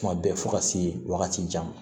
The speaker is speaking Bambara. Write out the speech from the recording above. Kuma bɛɛ fo ka se wagati jan ma